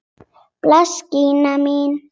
Bless Gína mín!